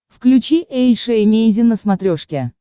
включи эйша эмейзин на смотрешке